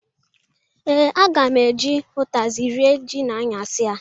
Ee, aga m eji ụtazị rịe ji n'anyasị.